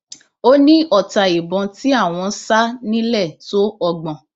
ó ní ọta ìbọn tí àwọn sá nílẹ tó ọgbọn